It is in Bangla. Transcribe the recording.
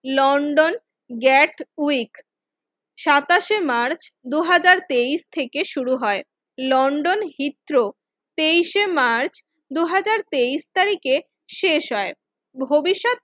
লন্ডন গ্যাট উইক সাতাশে মার্চ দুই হাজার তেইশ থেকে শুরু হয় লন্ডন হিথ্রো তেইশ শে মার্চ দুই হাজার তেইশ তারিখে শেষ হয় ভবিষ্যৎ